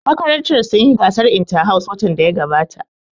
Makarantar sun yi gasar inta-house watan da ya gabata